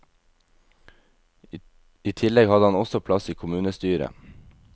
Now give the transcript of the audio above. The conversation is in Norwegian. I tillegg hadde han også plass i kommunestyret.